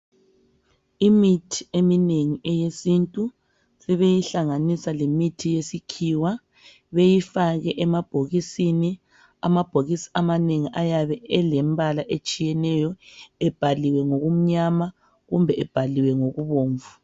Imithi eminengi eyesintu, sebeyihlanganisa lemithi yesikhiwa, beyifake emabhokisini. Amabhokisi amanengi ayabe elembala etshiyeneyo ebhaliwe ngukumnyama kumbe ebhaliwe ngokubomvu.